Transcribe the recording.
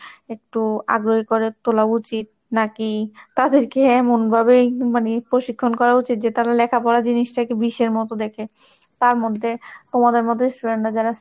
একটু আগ্রহী করে তোলা উচিত নাকি তাদেরকে এমনভাবেই মানে প্রশিক্ষণ করা উচিত, যে তারা লেখাপড়া জিনিসটাকে বিষের মতো দেখে, তার মধ্যে তোমাদের মধ্যে student রা যারা,